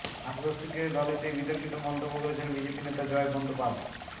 আর দেবশ্রীকে দলে চেয়ে বিতর্কিত মন্তব্য করেছেন বিজেপি নেতা জয় বন্দ্যোপাধ্